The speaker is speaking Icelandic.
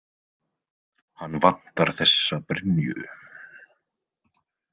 Hann vantar þessa brynju.